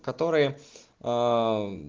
которые